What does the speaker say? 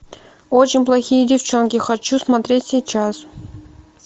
очень плохие девчонки хочу смотреть сейчас